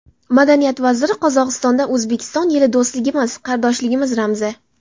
Madaniyat vaziri: Qozog‘istonda O‘zbekiston yili do‘stligimiz, qardoshligimiz ramzi.